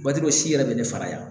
Waati dɔw si yɛrɛ bɛ ne faga yan